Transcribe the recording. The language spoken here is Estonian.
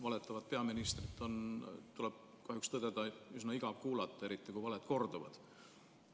Valetavat peaministrit on, tuleb kahjuks tõdeda, üsna igav kuulata, eriti kui valed korduvad.